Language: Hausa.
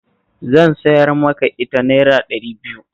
Zan siyar maka ita Naira ɗari biyu